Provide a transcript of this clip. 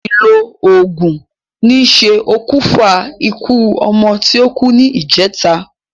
Àsìlò ògùn ní ṣe òkùnfà ikú ọmọ ti o kú ní ìjèta